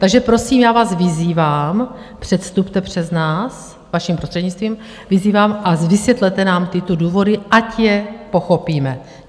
Takže prosím, já vás vyzývám, předstupte před nás, vaším prostřednictvím, vyzývám, a vysvětlete nám tyto důvody, ať je pochopíme.